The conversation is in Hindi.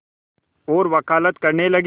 और वक़ालत करने लगे